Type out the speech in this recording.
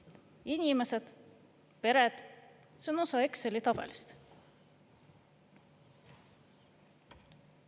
Inimesed, pered – see on osa Exceli tabelist.